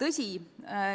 Tõsi,